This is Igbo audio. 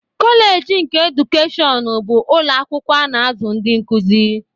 Koleji nke edukeshọn bụ ụlọ akwụkwọ a na-azụ ndị nkuzi.